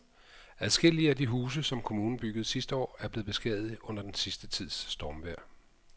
Adskillige af de huse, som kommunen byggede sidste år, er blevet beskadiget under den sidste tids stormvejr.